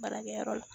Baarakɛyɔrɔ la